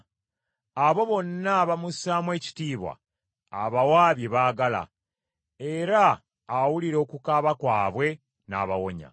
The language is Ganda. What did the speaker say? Abo bonna abamussaamu ekitiibwa abawa bye baagala, era awulira okukaaba kwabwe n’abawonya.